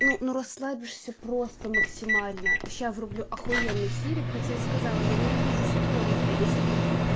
ну ну расслабишься просто максимально сейчас включу ахуенный сериал хотя я сказала я ненавижу ситкомы в принципе